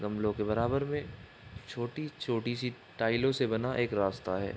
गमलों के बराबर में छोटी-छोटी सी टाइलो से बना एक रास्ता है।